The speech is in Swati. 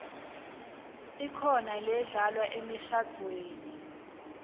ikhona ledlalwa emishadvweni